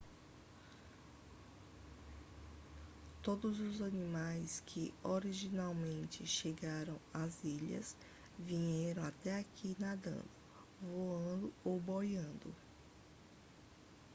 todos os animais que originalmente chegaram às ilhas vieram até aqui nadando voando ou boiando